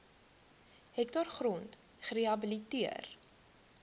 hektaar grond gerehabiliteer